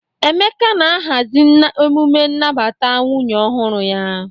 Emeka na-ahazi emume nnabata nwunye ọhụrụ ya.